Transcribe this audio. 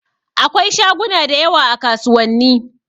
Akwai shaguna da yawa a kasuwanni.